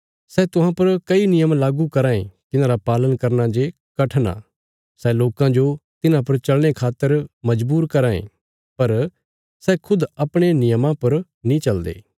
सै तुहां पर कई नियम लागू कराँ ये तिन्हांरा पालन करना जे कठण आ सै लोकां जो तिन्हां पर चलने खातर मजबूर कराँ ये पर सै खुद अपणे नियमां पर नीं चलदे